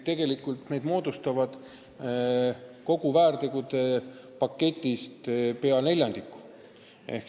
Need moodustavad kogu väärtegude paketist pea neljandiku.